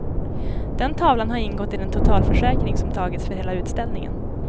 Den tavlan har ingått i den totalförsäkring som tagits för hela utställningen.